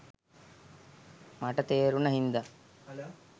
මට තේ‍රුණ හින්දා